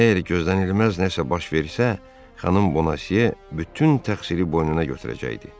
Əgər gözlənilməz nəsə baş verərsə, xanım Bonasiye bütün təqsiri boynuna götürəcəkdi.